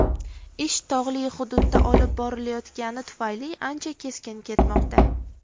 Ish tog‘li hududda olib borilayotgani tufayli ancha sekin ketmoqda.